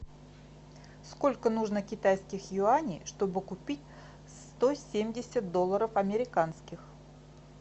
сколько нужно китайских юаней чтобы купить сто семьдесят долларов американских